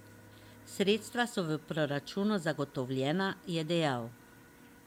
Sredstva so v proračunu zagotovljena, je dejal.